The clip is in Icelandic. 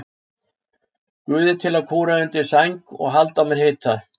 Guði til að kúra undir sæng og halda á mér hita?